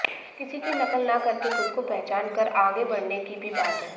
किसी की नकल न करके खुद को पहचान कर आगे बढ़ने की भी बात है